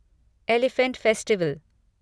elephant festival